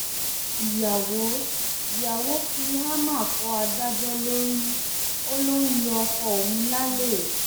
ìyàwó ìyàwó fi háàmà fọ adájọ lórí ó lọ ń yan ọkọ òun lálè